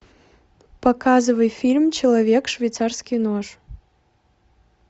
показывай фильм человек швейцарский нож